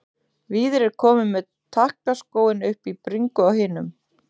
Víðir er kominn með takkaskóinn upp í bringu á hinum.